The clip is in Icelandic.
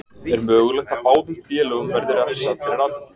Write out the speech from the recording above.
Er mögulegt að báðum félögum verði refsað fyrir atvikið.